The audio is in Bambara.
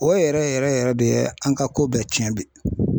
O yɛrɛ yɛrɛ yɛrɛ de ye an ka ko bɛɛ tiɲɛ bi.